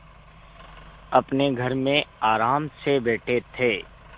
अपने घर में आराम से बैठे थे